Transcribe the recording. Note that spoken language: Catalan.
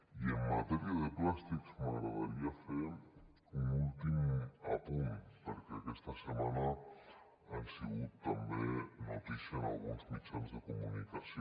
i en matèria de plàstics m’agradaria fer un últim apunt perquè aquesta setmana han sigut també notícia en alguns mitjans de comunicació